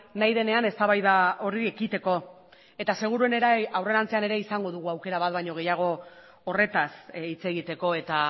nahi denean eztabaida horri ekiteko eta seguruenera ere aurrerantzean ere izango dugu aukera bat baino gehiago horretaz hitz egiteko eta